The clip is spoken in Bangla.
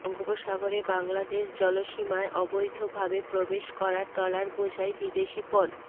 বঙ্গোপসাগরে বাংলাদেশ জলসীমায় অবৈধভাবে প্রবেশ করা ট্রলারবোঝাই বিদেশি পণ্